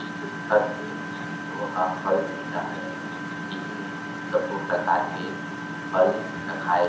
इ जो दिखत हे वोहा फल धेला हरे इहि में सबो प्रकार के फल रखाए --